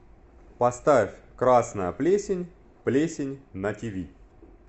поставь красная плесень плесень на тиви